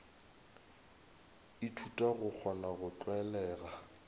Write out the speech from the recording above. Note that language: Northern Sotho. ithuta go kgona go tlwalega